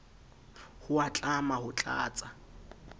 ho a tlama ho tlatsa